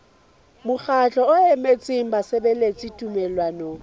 mokgatlo o emetseng basebeletsi tumellanong